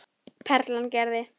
Perlan gerði.